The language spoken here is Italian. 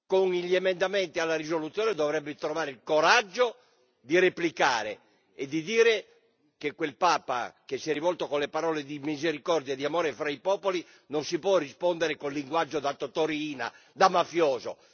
con gli emendamenti alla risoluzione dovrebbe trovare il coraggio di replicare e di dire che quel Papa che si è rivolto con le parole di misericordia e di amore fra i popoli non si può rispondere con il linguaggio da Toto Riina, da mafioso.